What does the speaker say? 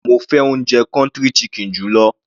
Rárá, mo fẹ́ oúnjẹ country kitchen jù lọ.